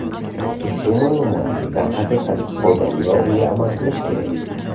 Ushbu ma’lumot, darhaqiqat, foydali va unga amal qilish kerak.